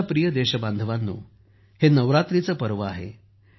माझ्या प्रिय देशबांधवांनो हे नवरात्रीचे पर्व आहे